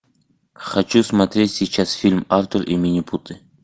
хочу смотреть сейчас фильм артур и минипуты